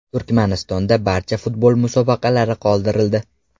Turkmanistonda barcha futbol musobaqalari qoldirildi.